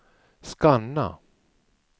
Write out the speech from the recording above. scanna